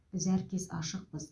біз әркез ашықпыз